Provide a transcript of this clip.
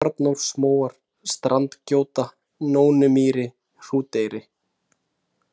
Arnórsmóar, Standgjóta, Nónmýri, Hrúteyri